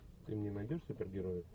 ты мне найдешь супергероев